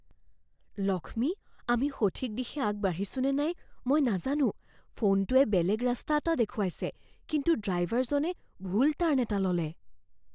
লক্ষ্মী, আমি সঠিক দিশে আগবাঢ়িছো নে নাই মই নাজানো। ফোনটোৱে বেলেগ ৰাস্তা এটা দেখুৱাইছে কিন্তু ড্ৰাইভাৰজনে ভুল টাৰ্ণ এটা ল'লে।